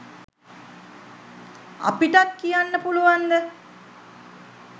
අපිටත් කියන්න පුළුවන්ද